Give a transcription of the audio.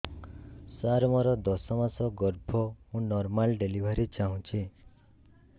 ସାର ମୋର ଦଶ ମାସ ଗର୍ଭ ମୁ ନର୍ମାଲ ଡେଲିଭରୀ ଚାହୁଁଛି